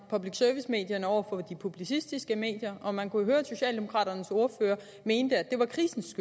public service medierne over for de publicistiske medier og man kunne jo høre at socialdemokraternes ordfører mente at det var krisens